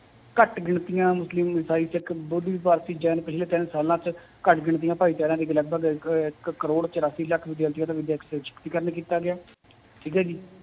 ਘੱਟ ਗਿਣਤੀਆਂ ਮੁਸਲਿਮ ਇਸਾਈ ਸਿੱਖ, ਬੋਧੀ, ਭਾਰਤੀ ਜੈਨ ਪਿੱਛਲੇ ਤਿੰਨ ਸਾਲਾਂ ਚ ਘੱਟ ਗਿਣਤੀਆਂ ਭਾਏਚਾਰਿਆਂ ਲਗਪਗ ਇੱਕ, ਇੱਕ ਕਰੋੜ ਚੁਰਾਸੀ ਲੱਖ ਕੀਤਾ ਗਿਆ ਠੀਕ ਹੈ ਜੀ